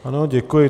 Ano, děkuji.